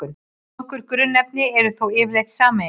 Nokkur grunnefni eru þó yfirleitt sameiginleg.